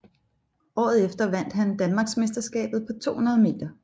Året efter vandt han Danmarksmesterskabet på 200 meter